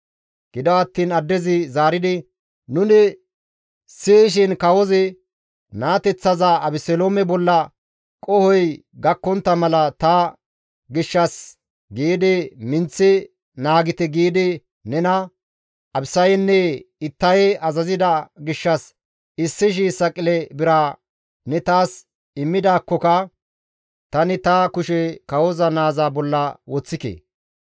Gido attiin addezi zaaridi, «Nuni siyishin kawozi, ‹Naateththaza Abeseloome bolla qohoy gakkontta mala ta gishshas giidi minththi naagite› giidi nena, Abisanne Ittaye azazida gishshas 1,000 saqile bira ne taas immidaakkoka tani ta kushe kawoza naaza bolla woththike.